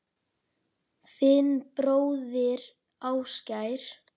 Þinn bróðir, Ásgeir.